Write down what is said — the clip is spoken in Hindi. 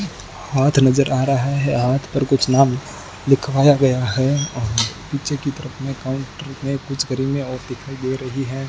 हाथ नजर आ रहा है हाथ पर कुछ नाम लिखवाया गया है और पीछे की तरफ में काउंटर में कुछ क्रीमें और दिखाई दे रही है।